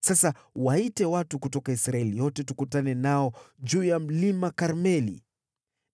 Sasa waite watu kutoka Israeli yote tukutane nao juu ya Mlima Karmeli.